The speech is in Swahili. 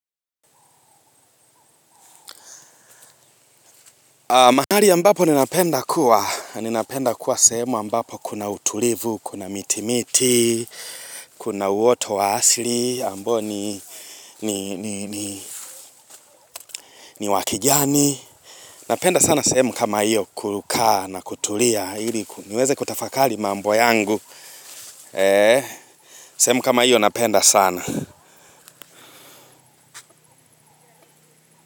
Mahali ambapo ninapenda kuwa, ninapenda kuwa sehemu ambapo kuna utulivu, kuna miti miti, kuna uoto wa asili, ambao ni wa kijani. Napenda sana sehemu kama iyo kukaa na kutulia, ili niweze kutafakali mambo yangu. Sehemu kama iyo napenda sana.